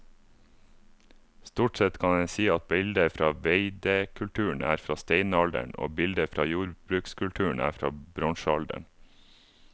Stort sett kan en si at bilder fra veidekulturen er fra steinalderen og bilder fra jordbrukskulturen er fra bronsealderen.